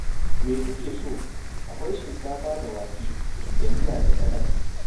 Me kuke so? Akwai shinkafa da wake da miya da salak.